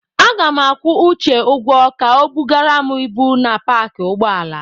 Aga m akwụ Uche ụgwọ ka o bugara m ibu na paakị ụgbọala.